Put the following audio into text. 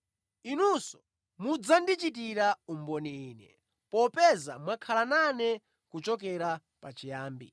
Inunso mudzandichitira umboni Ine, popeza mwakhala nane kuchokera pachiyambi.”